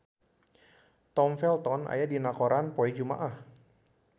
Tom Felton aya dina koran poe Jumaah